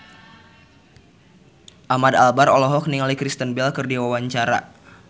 Ahmad Albar olohok ningali Kristen Bell keur diwawancara